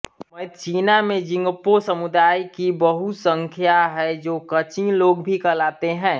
Myitkyina में Jingpo समुदाय की बहुसंख्या है जो कचिन लोग भी कहलाते हैं